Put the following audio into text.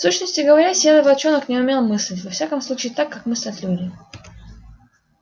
в сущности говоря серый волчонок не умел мыслить во всяком случае так как мыслят люди